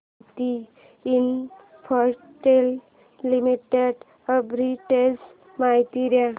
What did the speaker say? Bharti Infratel limited arbitrage माहिती दे